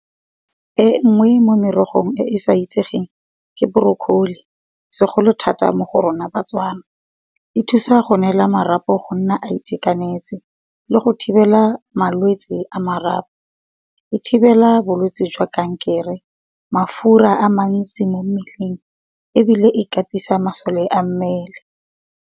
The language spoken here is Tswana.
E nngwe mo merogong e e sa itsegeng ke borokoli segolo thata mo go rona batswana, e thusa go neela marapo go nna a itekanetse le go thibela malwetse a marapo. E thibela bolwetse jwa kankere mafura a mantsi mo mmeleng ebile e katisa masole a mmele.